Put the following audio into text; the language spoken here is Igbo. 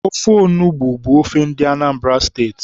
Ofe onugbu bụ ofe ndị Anambra steeti